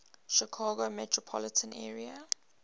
chicago metropolitan area